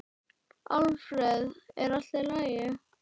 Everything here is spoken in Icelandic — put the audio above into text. Alfreð, er í lagi?